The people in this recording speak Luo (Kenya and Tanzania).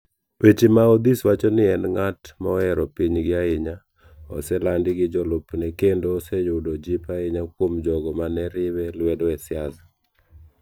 Weche maOdhis wacho ni en ng'at mohero pinygi ahinya, oselandi gi jolupne kendo oseyudo jip ahinya kuom jogo ma ne riwe lwedo e siasa.